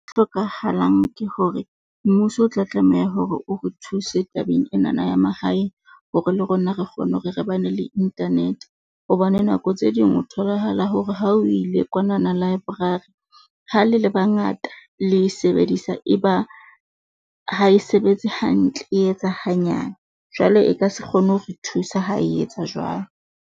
Hlokahalang ke hore mmuso o tla tlameha hore o re thuse tabeng enana ya mahae hore le rona re kgone hore re bana le internet. Hobane nako tse ding o tholahala hore ha o ile kwanana library, ha le le bangata le e sebedisa, e ba ha e sebetse hantle, e etsa hanyane jwale e ka se kgone ho re thusa ha e etsa jwalo.